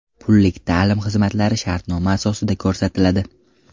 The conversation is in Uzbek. Pullik ta’lim xizmatlari shartnoma asosida ko‘rsatiladi.